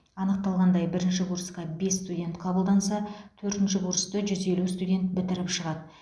анықталғандай бірінші курсқа бес студент қабылданса төртінші курсты жүз елу студент бітіріп шығады